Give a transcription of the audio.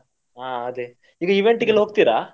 ಹ ಅದೆ ಈಗ event ಗೆಲ್ಲಾ ಹೋಗ್ತೀರಾ?